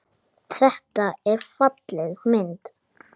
Það setti óhug að mörgum.